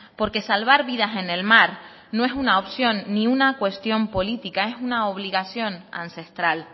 porque salvar vidas en el mar no es una opción ni una cuestión política es una obligación ancestral